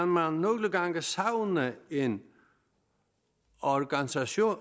man nogle gange savne en organisation